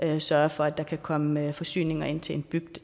der sørger for at der kan komme forsyninger ind til en bygd